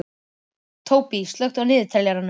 Tóbý, slökktu á niðurteljaranum.